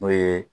N'o ye